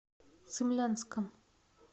цимлянском